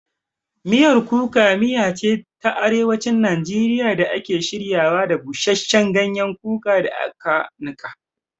Miyar Kuka miya ce ta Arewacin Najeriya da ake shiryawa da busasshen ganyen kuka da aka nika.